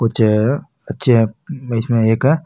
कुछ अच्छे इसमें एक --